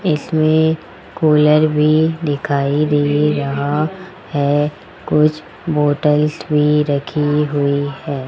इसमें कूलर भी दिखाई दे रहा है कुछ बॉटल्स भी रखी हुई है।